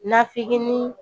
Nafikil ni